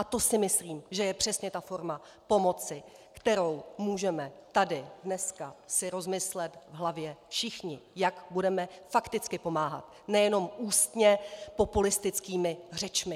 A to si myslím, že je přesně ta forma pomoci, kterou můžeme tady dneska si rozmyslet v hlavě všichni, jak budeme fakticky pomáhat, nejenom ústně populistickými řečmi!